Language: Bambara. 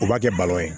U b'a kɛ ye